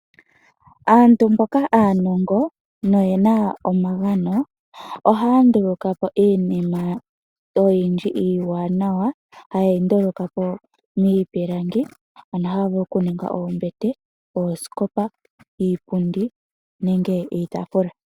Aantu mboka aanongo noye na omagano ohaya nduluka po iinima oyindji iiwanawa haye yi nduluka po miipilangi ano ohaya vulu okuninga oombete, oosikopa, iipundi nenge iitaafula.